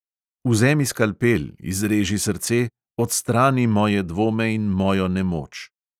Vzemi skalpel, izreži srce, odstrani moje dvome in mojo nemoč.